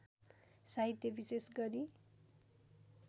साहित्य विशेष गरी